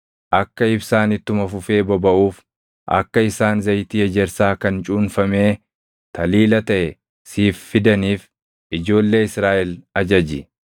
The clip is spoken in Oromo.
“Akka ibsaan ittuma fufee bobaʼuuf akka isaan zayitii ejersaa kan cuunfamee taliila taʼe siif fidaniif ijoollee Israaʼel ajaji.